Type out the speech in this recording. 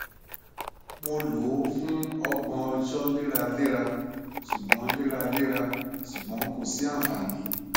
mo lo o fun ọgbọn ọjọ leralera ṣugbọn leralera ṣugbọn ko si anfani